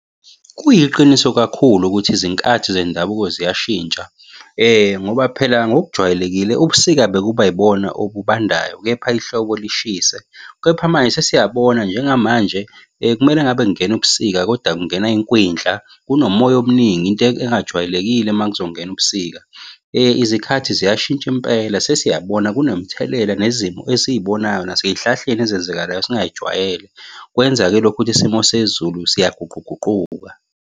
Kuyiqiniso kakhulu ukuthi izinkathi zendabuko ziyashintsha ngoba phela ngokujwayelekile ubusika bekuba yibona obubandayo, kepha ihlobo lishise. Kepha manje sesiyabona njengamanje kumele engabe kungena ubusika, koda kungena inkwindla kunomoya omningi into engajwayelekile uma kuzongena ubusika. Izikhathi ziyashintsha impela sesiyabona kunomthelela nezimo esiyibonayo nasey'hlahleni ezenzakalayo esingayijwayele. Kwenza-ke lokhu ukuthi isimo sezulu siyaguquguquka.